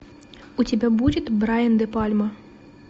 у тебя будет брайан де пальма